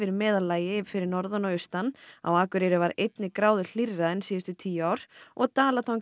meðallagi fyrir norðan og austan á Akureyri var einni gráðu hlýrra en síðustu tíu ár og